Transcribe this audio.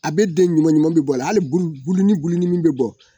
A bɛ den ɲuman ɲuman bɛ bɔ a la hali buluni buluni min bɛ bɔ